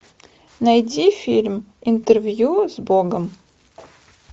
найди фильм интервью с богом